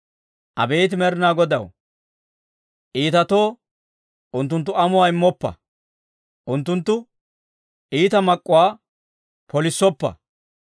Abeet Med'inaa Godaw, iitatoo unttunttu amuwaa immoppa; unttunttu iita mak'k'uwaa polissoppa.